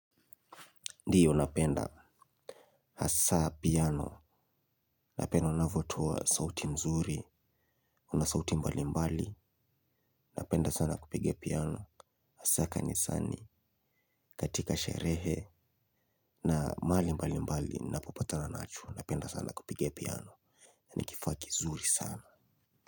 Ndio napenda hasa piano, napenda unavotoa sauti nzuri, na sauti mbalimbali, napenda sana kupiga piano, hasa kanisani, katika sherehe, na mahali mbalimbali, napopata nacho, napenda sana kupiga piano, ni kifaa kizuri sana.